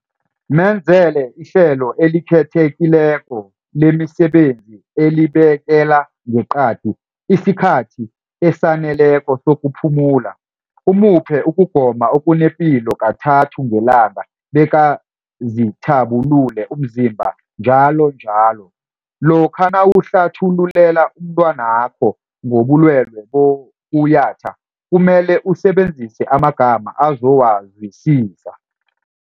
Menzele ihlelo elikhethekileko lemisebenzi elibekela ngeqadi isikhathi esaneleko sokuphumula, umuphe ukugoma okunepilo kathathu ngelanga bekazithabu-lule umzimba njalo njalo. Lokha nawuhlathululela umntwanakho ngobulwele bokuyatha kumele usebenzise amagama azowazwisisa.